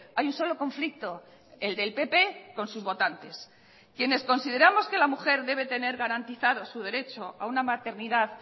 hay un solo conflicto el del pp con sus votantes quienes consideramos que la mujer debe tener garantizado su derecho a una maternidad